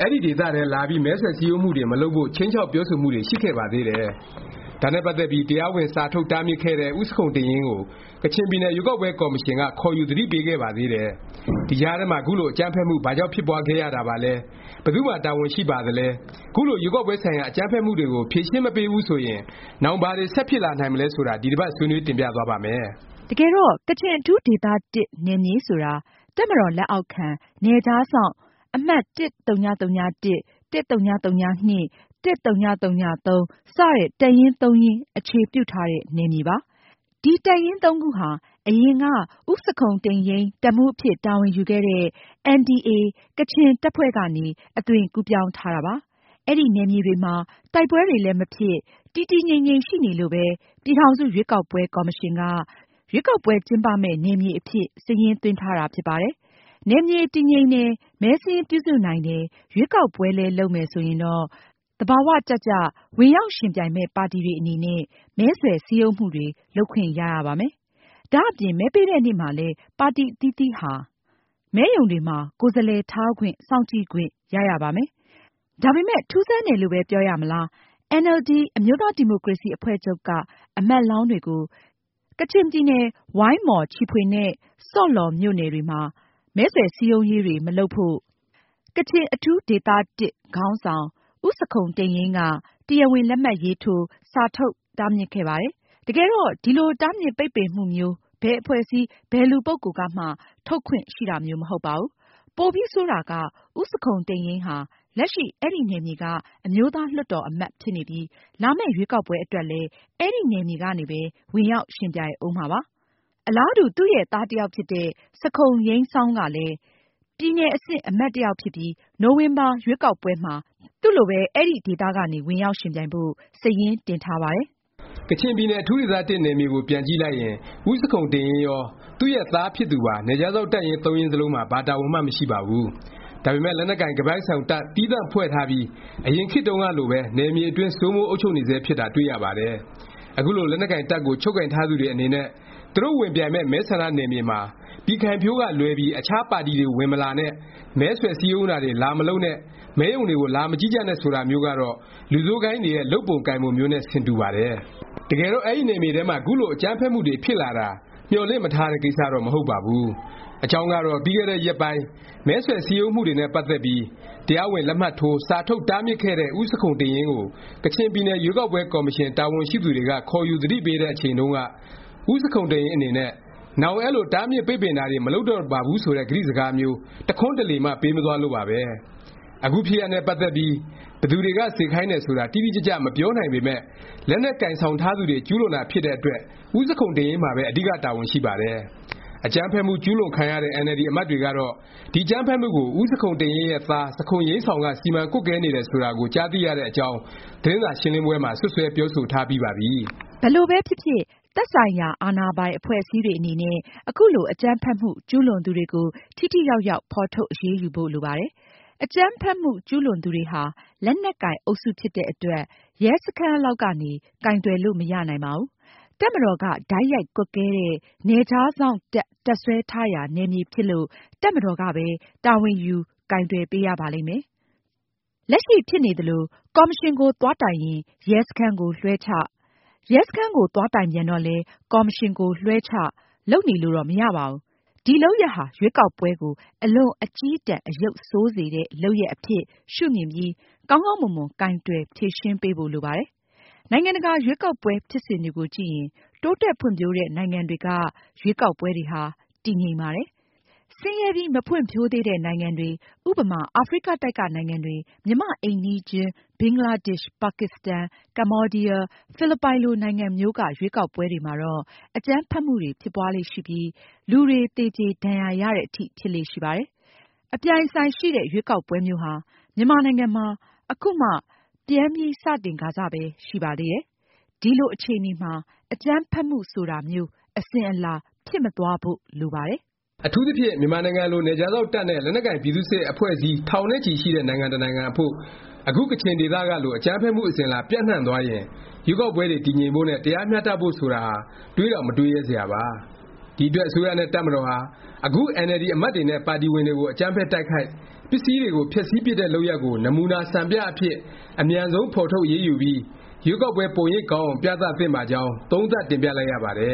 အဲဒီဒေသထဲ လာပြီး မဲဆွယ်စည်းရုံးမှုတွေ မလုပ်ဖို့ ခြိမ်းခြောက် ပြောဆိုမှုတွေ ရှိခဲ့ပါသေးတယ်။ ဒါနဲ့ ပတ်သက်ပြီး တရားဝင် စာထုတ် တားမြစ်ခဲ့တဲ့ ဦးဆခုန်တိန့်ယိန်းကို ကချင်ပြည်နယ် ရွေးကောက်ပွဲ ကော်မရှင်က ခေါ်ယူ သတိပေးခဲ့ပါသေးတယ်။ ဒီကြားထဲမှာ အခုလို အကြမ်းဖက်မှု ဘာကြောင့် ဖြစ်ပွားခဲ့ရတာပါလဲ၊ ဘယ်သူ့မှာတာဝန်ရှိပါသလဲ၊ ခုလို ရွေးကောက်ပွဲဆိုင်ရာ အကြမ်းဖက်မှုတွေကို ဖြေရှင်းမပေးဘူး ဆိုရင် နောင် ဘာတွေ ဆက်ဖြစ်လာနိုင်မလဲ ဆိုတာ ဒီတစ်ပါတ် ဆွေးနွေး တင်ပြသွားပါ့မယ်။ တကယ်တော့ ကချင်အထူးဒေသ နယ်မြေဆိုတာ တပ်မတော် လက်အောက်ခံ နယ်ခြားစောင့် အမှတ် ၁၀၀၁၊ ၁၀၀၂၊ ၁၀၀၃ တပ်ရင်း ရင်း အခြေပြုထားတဲ့ နယ်မြေပါ။ ဒီ တပ်ရင်း ခုဟာ အရင်က ဦးဆခုံတိန့်ယိန်း တပ်မှူးအဖြစ် တာဝန်ယူခဲ့တဲ့ NDA တပ်ဖွဲ့ကနေ အသွင် ကူးပြောင်းထားတာပါ။ အဲဒီ နယ်မြေတွေမှာ တိုက်ပွဲတွေလည်း မဖြစ်၊ တည်တည်ငြိမ်ငြိမ် ရှိနေလို့ပဲ ပြည်ထောင်စု ရွေးကောက်ပွဲ ကော်မရှင်က ရွေးကောက်ပွဲ ကျင်းပမယ့် နယ်မြေအဖြစ် စာရင်းသွင်းထားတာ ဖြစ်ပါတယ်။ နယ်မြေ တည်ငြိမ်တယ်၊ မဲစာရင်းပြုစုနိုင်တယ်၊ ရွေးကောက်ပွဲလည်း လုပ်မယ် ဆိုရင်တော့ သဘာ၀ ကျစွာပဲ ဝင်ရောက်ယှဉ်ပြိုင်မယ့် ပါတီတွေ အနေနဲ့ မဲဆွယ်စည်းရုံးမှုတွေ လုပ်ခွင့် ရရပါမယ်။ ဒါ့အပြင် မဲပေးတဲ့နေ့မှာလည်း ပါတီအသီးသီးဟာ မဲရုံတွေမှာ ကိုယ်စားလှယ်ထားခွင့်၊ စောင့်ကြည့်ခွင့် ရရပါမယ်။ ဒါပေမယ့် ထူးဆန်းတယ်လို့ပဲ ပြောရမလား၊ အင်န်အယ်လ်ဒီ အမျိုးသားဒီမိုကရေစီအဖွဲ့ချုပ် က အမတ်လောင်းတွေကို ကချင်ပြည်နယ် ချီဖွေ နဲ့ ဆော့လော် မြို့နယ်တွေမှာ မဲဆွယ် စည်းရုံးရေးတွေ မလုပ်ဖို့ ကချင်အထူးဒေသ ခေါင်းဆောင် ဦးဆခုံတိန့်ယိန်းက တရားဝင် လက်မှတ်ရေးထိုး၊ စာထုတ်၊ တားမြစ်ခဲ့ပါတယ်။ တကယ်တော့ ဒီလို တားမြစ်ပိတ်ပင်မှုမျိုး ဘယ်အဖွဲ့အစည်း ဘယ်လူပုဂ္ဂိုလ်ကမှ ထုတ်ခွင့်ရှိတာမျိုး မဟုတ်ပါဘူး။ ပိုပြီး ဆိုးတာက ဦးဆခုံတိန့်ယိန်းဟာ လက်ရှိ အဲဒီ နယ်မြေက အမျိုးသားလွှတ်တော် အမတ် ဖြစ်နေပြီး၊ လာမယ့် ရွေးကောက်ပွဲ အတွက်လည်း အဲဒီနယ်မြေကနေပဲ ဝင်ရောက် ယှဉ်ပြိုင်ပါဦးမယ်။ အလားတူ သူ့ရဲ့ သားတစ်ယောက်ဖြစ်တဲ့ ဆခုံယိန်းဆောင် ကလည်း ပြည်နယ် အဆင့် အမတ်တစ်ယောက် ဖြစ်ပြီး နိုဝင်ဘာ ရွေးကောက်ပွဲမှာ သူ့လိုပဲ အဲဒီ ဒေသကနေ ဝင်ရောက်ယှဉ်ပြိုင်ဖို့ စာရင်းတင်ထားပါတယ်။ ကချင်ပြည်နယ် အထူးဒေသ နယ်မြေကို ပြန်ကြည့်လိုက်ရင် ဦးဆခုံတိန့်ယိန်းရော၊ သူ့ရဲ့ သားဖြစ်သူပါ နယ်ခြားစောင့် တပ်ရင်း ရင်းစလုံးမှာ ဘာတာဝန်မှ မရှိပါဘူး။ ဒါပေမယ့် လက်နက်ကိုင် ခါးပိုက်ဆောင် တပ် သီးသန့်ဖွဲ့ထားပြီး အရင်ခေတ်တုန်းကလိုပဲ နယ်မြေအတွင်း စိုးမိုးအုပ်ချုပ်နေဆဲ ဖြစ်တာ တွေ့ရပါတယ်။ အခုလို လက်နက်ကိုင်တပ်ကို ချုပ်ကိုင်ထားသူတွေ အနေနဲ့ သူတို့ဝင်ပြိုင်မဲ့ မဲဆန္ဒနယ်မြေမှာ ပြည်ခိုင်ဖြိုးကလွဲပြီး အခြား ပါတီတွေ ဝင်မလာနဲ့၊ မဲဆွယ် စည်းရုံးတာတွေ လာမလုပ်နဲ့၊ မဲရုံတွေကို လာမကြီးကြပ်နဲ့ ဆိုတာမျိုးကတော့ လူဆိုးဂိုဏ်းတွေရဲ့ လုပ်ပုံ ကိုင်ပုံမျိုးနဲ့ ဆင်တူပါတယ်။ တကယ်တော့ အဲဒီနယ်မြေထဲမှာ ခုလို အကြမ်းဖက်မှုတွေ ဖြစ်လာတာ မျှော်လင့်မထားတဲ့ ကိစ္စတော့ မဟုတ်ပါဘူး။ အကြောင်းကတော့ ပြီးခဲ့တဲ့ ရက်ပိုင်း မဲဆွယ် စည်းရုံးမှုတွေနဲ့ ပတ်သက်ပြီး တရားဝင် လက်မှတ်ထိုး၊ စာထုတ် တားမြစ်ခဲ့တဲ့ ဦးဆခုံတိန့်ယိန်းကို ကချင်ပြည်နယ် ရွေးကောက်ပွဲ ကော်မရှင် တာဝန်ရှိသူတွေက ခေါ်ယူ သတိပေးတဲ့အချိန်တုန်းက ဦးဆခုံတိန့်ယိန်းအနေနဲ့ နောင် အဲလို တားမြစ်ပိတ်ပင်တာတွေ မလုပ်တော့ပါဘူး ဆိုတဲ့ ကတိစကားမျိုး တစ်ခွန်းတစ်လေမှ ပေးမသွားလို့ပါပဲ။ အခုဖြစ်ရပ်နဲ့ ပတ်သက်ပြီး ဘယ်သူတွေက စေခိုင်းတယ် ဆိုတာ တိတိကျကျ မပြောနိုင်ပေမယ့် လက်နက်ကိုင်ဆောင်ထားသူတွေ ကျူးလွန်တာ ဖြစ်တဲ့အတွက် ဦးဆခုံတိန့်ယိန်းမှာပဲ အဓိက တာဝန်ရှိပါတယ်။ အကြမ်းဖက်မှု ကျူးလွန်ခံရတဲ့ အင်န်အယ်လ်ဒီ အမတ်တွေကတော့ ဒီအကြမ်းဖက်မှုကို ဦးတိန့်ယိန်းရဲ့သား ဆခုံယိန်းဆောင်က စံမံကွပ်ကဲနေတယ် ဆိုတာကို ကြားသိရတဲ့အကြောင်း သတင်းစာရှင်းလင်းပွဲမှာ စွတ်စွဲပြောဆိုထားပြီးပါပြီ။ ဘယ်လိုပဲဖြစ်ဖြစ် သက်ဆိုင်ရာ အာဏာပိုင် အဖွဲ့အစည်းတွေအနေနဲ့ ခုလို အကြမ်းဖက်မှု ကျူးလွန်သူတွေကို ထိထိရောက်ရောက် ဖော်ထုတ် အရေးယူဖို့ လိုပါတယ်။ အကြမ်းဖက်မှု ကျူးလွန်သူတွေဟာ လက်နက်ကိုင် အုပ်စု ဖြစ်တဲ့အတွက် ရဲစခန်းလောက်ကနေ ကိုင်တွယ်လို့ မရနိုင်ပါဘူး။ တပ်မတော်က တိုက်ရိုက် ကွပ်ကဲတဲ့ နယ်ခြားစောင့်တပ် တပ်စွဲထားရာ နယ်မြေဖြစ်လို့ တပ်မတော်ကပဲ တာဝန်ယူ ကိုင်တွယ်ပေးရပါလိမ့်မယ်။ လက်ရှိ ဖြစ်နေသလို ကော်မရှင်ကို သွားတိုင်ရင် ရဲစခန်းကို လွဲှချ၊ ရဲစခန်းသွားတိုင်ပြန်တော့လည်း ကော်မရှင်ကို လွဲှချ လုပ်နေလို့ မရပါဘူး။ ဒီ လုပ်ရပ်ဟာ ရွေးကောက်ပွဲကို အလွန် အကျည်းတန် အရုပ်ဆိုးစေတဲ့ လုပ်ရပ်အဖြစ် ရှုမြင်ပြီး ကောင်းကောင်းမွန်မွန် ကိုင်တွယ် ဖြေရှင်းပေးဖို့ လိုပါတယ်။ နိုင်ငံတကာ ရွေးကောက်ပွဲ ဖြစ်စဉ်တွေကိုကြည့်ရင် တိုးတက်ဖွံ့ဖြိုးတဲ့ နိုင်ငံတွေက ရွေးကောက်ပွဲတွေဟာ တည်ငြိမ်ပါတယ်။ ဆင်းရဲပြီး မဖွံ့ဖြိုးသေးတဲ့ နိုင်ငံတွေ၊ ဥပမာ အာဖရိကတိုက်က နိုင်ငံတွေ၊ မြန်မာ့အိမ်နီးချင်း ဘင်္ဂလားဒေ့ရှ်၊ ပါကစ္စတန်၊ ကမ္ဘောဒီးယား၊ ဖိလစ်ပိုင်လို နိုင်ငံမျိုးက ရွေးကောက်ပွဲတွေမှာတော့ အကြမ်းဖက်မှုတွေ ဖြစ်ပွားလေ့ရှိပြီး လူတွေ သေကြေဒါဏ်ရာရသည်အထိ ဖြစ်လေ့ ရှိပါတယ်။ အပြိုင်အဆိုင်ရှိတဲ့ ရွေးကောက်ပွဲမျိုးဟာ မြန်မာနိုင်ငံမှာ အခုမှ ပြန် စတင်ကာစပဲ ရှိပါသေးတယ်။ ဒီလို အခြေအနေမှာ အကြမ်းဖက်မှု ဆိုတာမျိုး အစဉ်အလာ ဖြစ်မသွားဖို့ လိုပါတယ်။ အထူးသဖြင့် မြန်မာနိုင်ငံလို နယ်ခြားစောင့်တပ်နဲ့ လက်နက်ကိုင် ပြည်သူ့စစ်အဖွဲ့အစည်း ထောင်နဲ့ချီရှိတဲ့ နိုင်ငံ တစ်နိုင်ငံ အဖို့ အခု ကချင်ဒေသကလို အကြမ်းဖက်မှု အစဉ်အလာ ပျံ့နှံ့သွားရင် ရွေးကောက်ပွဲတွေ တည်ငြိမ်ဖို့နဲ့ တရားမျှတဖို့ ဆိုတာဟာ တွေးတောင် မတွေးရဲစရာပါ။ ဒီအတွက် အစိုးရနဲ့ တပ်မတော်ဟာ အခု အင်န်အယ်လ်ဒီ အမတ်တွေနဲ့ ပါတီဝင်တွေကို အကြမ်းဖက်တိုက်ခိုက်၊ ပစ္စည်းတွေကို ဖျက်ဆီးပစ်တဲ့ လုပ်ရပ်ကို နမူနာ စံပြအဖြစ် အမြန်ဆုံး ဖော်ထုတ် အရေးယူပြီး ရွေးကောက်ပွဲ ပုံရိပ်ကောင်းအောင် ပြသ သင့်ပါကြောင်း သုံးသပ်တင်ပြလိုက်ရပါတယ